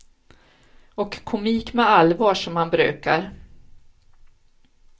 Och komik med allvar som han brukar.